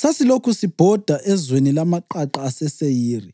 sasilokhu sibhoda ezweni lamaqaqa aseSeyiri.